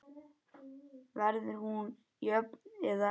Verður hún jöfn eða?